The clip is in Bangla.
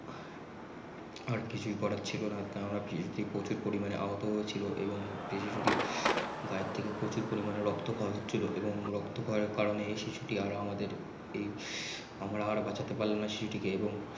আর কিছুই করার ছিল না কেননা সেই শিশু টি প্রচুর পরিমানে আহুত ছিল এবং সে শিশুটির গায়ের থেকে প্রচুর পরিমানে রক্ত খই হয়েছিল এবং রক্ত খই এর কারনে শিশুটির আর আমাদের আর এই আমরা আর বাঁচাতে পারলাম না শিশুটিকে এবং